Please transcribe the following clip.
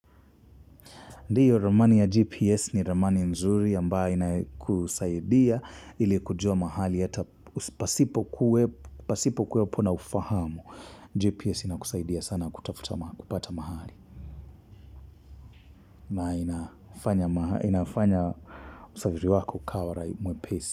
Ndiyo ramani ya GPS ni ramani nzuri ambayo inakusaidia ili kujua mahali hata pasipo kuwepo na ufahamu. GPS inakusaidia sana kutafuta, kupata mahali na inafanya usafiri wako ukawa mwepesi.